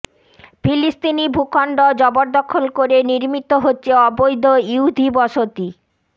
ফিলিস্তিনি ভূখণ্ড জবরদখল করে নির্মিত হচ্ছে অবৈধ ইহুদি বসতি